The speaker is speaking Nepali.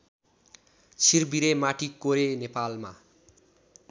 छिरबिरे माटीकोरे नेपालमा